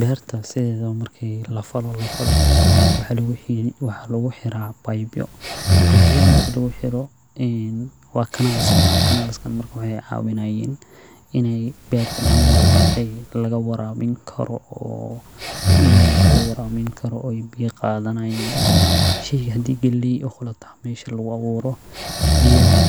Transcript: Beerta marki lafalo waxaa lagu xiraa babyo, waxaay caawinayaan in beerta dan walbo laga warabin karo, oo biya qadanayaa, hadii galeey meesha lagu abuuro